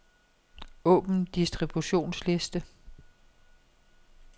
Åbn distributionsliste.